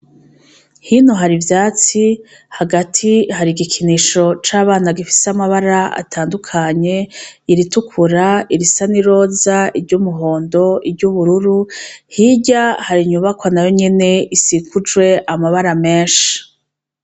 Hino harivyatsi hagati hari igikinisho cabana gifise amabara atandukanye, iritukura irisa niroza, i ry'umuhondo, i ry'ubururu hirya hari inyubakwa nayo nyene isikujwe amabara menshi.